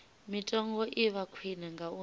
mitengo i vha khwine ngauri